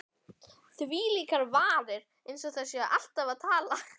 Þvílíkar varir,- eins og þær séu alltaf að tala.